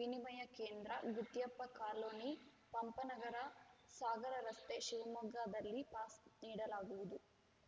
ವಿನಿಮಯ ಕೇಂದ್ರ ಗುತ್ಯಪ್ಪ ಕಾಲೊನಿ ಪಂಪನಗರ ಸಾಗರ ರಸ್ತೆ ಶಿವಮೊಗ್ಗದಲ್ಲಿ ಪಾಸ್‌ ನೀಡಲಾಗುವುದು